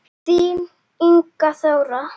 Þín Inga Þóra.